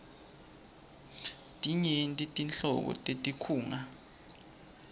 tinyenti nhlobo tetinkhunga